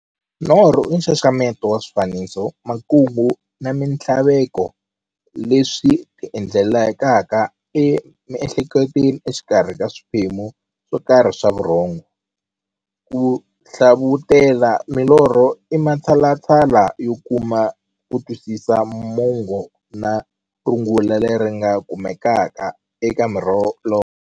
Norho i nxaxamelo wa swifaniso, makungu na minthlaveko leswi ti endlekelaka e miehleketweni exikarhi ka swiphemu swokarhi swa vurhongo. Ku hlavutela milorho i matshalatshala yo kuma kutwisisa mungo na rungula leri nga kumekaka eka milorho.